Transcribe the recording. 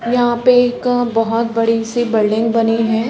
यहाँ पे एक बहुत बड़ी सी बिल्डिंग बनी है।